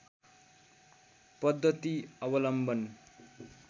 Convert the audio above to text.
पद्धति अवलम्बन